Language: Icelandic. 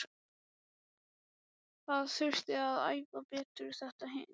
Það þurfti að æfa betur þetta og hitt.